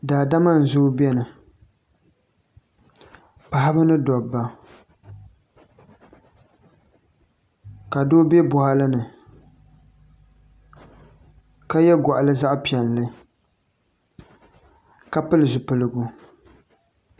Daadama n zooi biɛni paɣaba ni dabba ka doo bɛ boɣali ni ka yɛ goɣano zaɣ piɛlli ka pili zipiligu